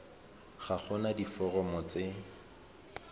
ga go na diforomo tse